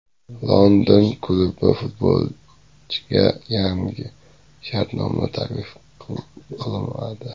London klubi futbolchiga yangi shartnoma taklif qilmadi.